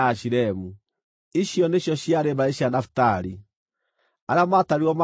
Ici nĩcio ciarĩ mbarĩ cia Nafitali; arĩa maatarirwo maarĩ andũ 45,400.